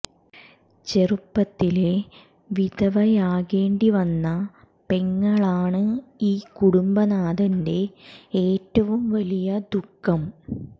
ചെറുപ്പത്തിലെ വിധവയാകേണ്ടി വന്ന പെങ്ങളാണ് ഈ കുടുംബനാഥന്റെ ഏറ്റവും വലിയ ദുഖം